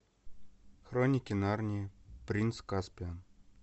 хроники нарнии принц каспиан